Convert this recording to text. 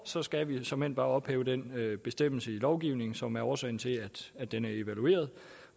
så skal vi såmænd bare ophæve den bestemmelse i lovgivningen som er årsagen til at den er evalueret